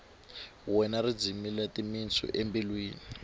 wena ri dzimile timitsu embilwini